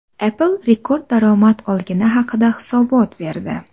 Apple rekord daromad olgani haqida hisobot berdi.